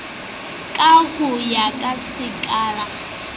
ka ho ya ka sekala